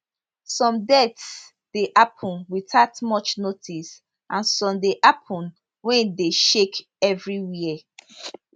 some deaths dey happun witout much notice and some dey happun wey dey shake evriwia